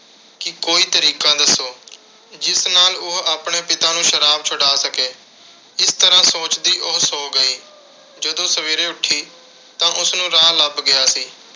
ਕਿ ਕੋਈ ਤਰੀਕਾ ਦੱਸੋ, ਜਿਸ ਨਾਲ ਉਹ ਆਪਣੇ ਪਿਤਾ ਨੂੰ ਸ਼ਰਾਬ ਛੁਡਾ ਸਕੇ। ਇਸ ਤਰ੍ਹਾਂ ਸੋਚਦੀ ਉਹ ਸੋ ਗਈ। ਜਦੋਂ ਸਵੇਰੇ ਉੱਠੀ ਤਾਂ ਉਸਨੂੰ ਰਾਹ ਲੱਭ ਗਿਆ ਸੀ।